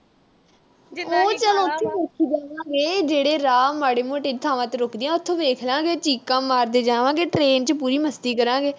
ਉਹ ਤਾਂ ਚੱਲ ਉਥੇ ਵੇਖੀ ਜਾਵਾਂਗੇ। ਜਿਹੜੇ ਰਾਹ ਮਾੜੇ-ਮੋਟੇ ਥਾਵਾਂ ਤੇ ਰੁਕਦੀ ਆ, ਉਥੇ ਦੇਖ ਲਾਂ ਗੇ। ਚੀਕਾਂ ਮਾਰਦੇ ਜਾਵਾਂਗੇ। train ਚ ਪੂਰੀ ਮਸਤੀ ਕਰਾਂਗੇ।